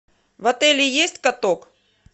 в отеле есть каток